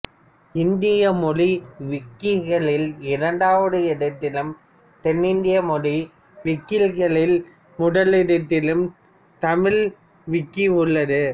இந்திய மொழி விக்கிகளில் இரண்டாவது இடத்திலும் தென்னிந்திய மொழி விக்கிகளில் முதல் இடத்திலும் தமிழ் விக்கி உள்ளது